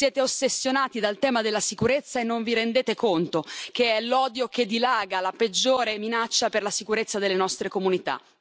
Siete ossessionati dal tema della sicurezza e non vi rendete conto che è l'odio che dilaga la peggiore minaccia per la sicurezza delle nostre comunità.